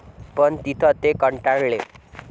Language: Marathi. पण तिथे ते कंटाळले.